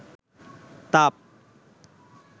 তাপ